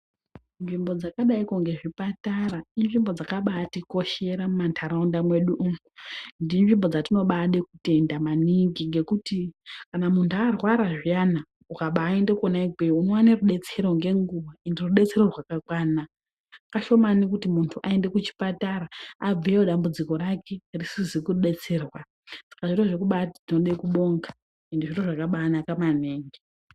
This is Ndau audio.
Nzvimbo dzakadaiko ngezvipatara inzvimbo dzakabaatikoshera mumantaraunda mwedu umu. Endi inzvimbo dzetinobaade kutenda maningi ngekuti kana muntu arwara zviyana ukabaaende kona ikweyo unoone rudetsero ngenguva ende rudetsero rwakakwana. Kashomani kuti muntu aende kuchipatara abveyo dambudziko rake risizi kudetserwa. Saka zviro zvekuti tinobaade kubonga endi zviro zvakabaanaka maningi.